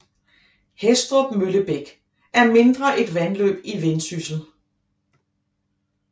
Hæstrup Møllebæk er mindre et vandløb i Vendsyssel